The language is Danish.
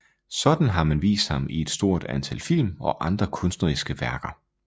Sådan har man vist ham i et stort antal film og andre kunstneriske værker